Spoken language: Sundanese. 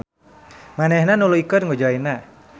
Manehna nuluykeun ngojayna.